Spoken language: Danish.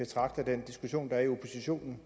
jo